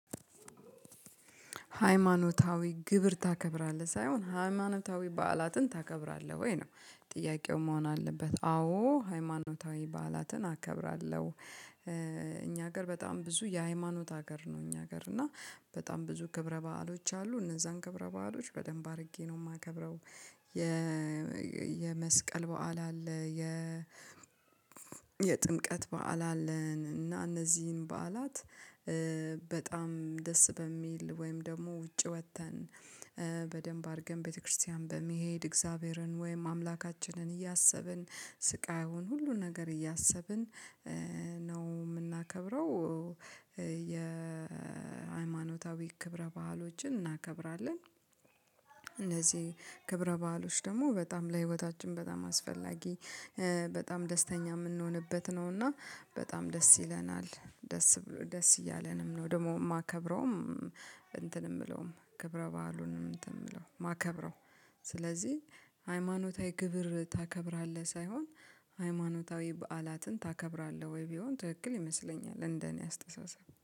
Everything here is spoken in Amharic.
ሃይማኖታዊ ግብር ታከብራለህ ሳይሆን ሃይማኖታዊ በዓላትን ታከብራለህ ወይ ነው ፥ጥያቄው መሆን አለበት አዎ ሃይማኖታዊ በዓላትን አከብራለሁ። እኛ ሀገር በጣም ብዙ የሃይማኖት ሀገር ነው እኛ ሀገር እና በጣም ብዙ ክብረ በዓሎች አሉ እነዛን ክብረ በዓሎች በደንብ አድርጌ ነው የማከብረው የመስቀል በዓል አለ የ በዓል አለን እና እነዚህን በዓላት፣ በጣም ደስ በሚል ወይም ደግሞ ውጭ ወጥተን በደንብ አድርገን ቤተክርስቲያን በመሄድ እግዚአብሔርን ወይም አምላካችንን እያሰብን ስቃዩን ሁሉ ነገር እያሰብን ነው የምናከብረው የሃይማኖታዊ ክብረ ባህሎችን እናከብራለን ክብረ በዓሎች ደግሞ በጣም ለህይወታችን በጣም አስፈላጊ በጣም ደስተኛ የምንሆንበት ነው እና በጣም ደስ ይለናል ደስ ደስ እያለንም ነው ደግሞ የማከብረውም። እንትን የምለውም ክብረ በዓሉንም እንትን የምለው ማከብረው ስለዚህ ሃይማኖታዊ ክብር ታከብራለህ ሳይሆን ''ሃይማኖታዊ በዓላትን ታከብራለህ ወይ?'' ቢሆን ትክክል ይመስለኛል እንደኔ አስተሳሰብ